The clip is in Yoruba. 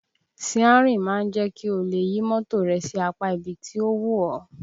Síárìn máa ń jẹ́ kí o lè yí mọ́tò rẹ sí apá ibi tí ó wù ọ́